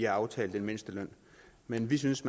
aftalt en mindsteløn men vi synes